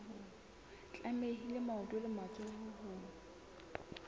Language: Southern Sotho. tlamehile maoto le matsoho ho